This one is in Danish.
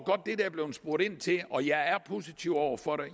spurgt ind til og jeg er positiv over for det